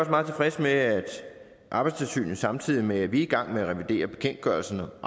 meget tilfreds med at arbejdstilsynet samtidig med at vi er i gang med at revidere bekendtgørelsen